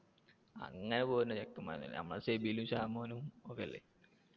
അങ്ങനെ പോകുന്നി ചെക്കന്മാരൊന്നുമല്ല നമ്മടെ ഷെബിലും ഷാമോനും ഒക്കെ അല്ലെ